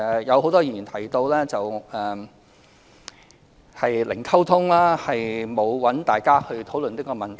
有很多議員提到零溝通，沒有與大家討論這個問題。